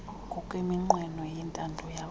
ngokweminqweno nentando yabatu